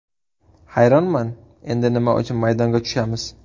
Hayronman, endi nima uchun maydonga tushamiz.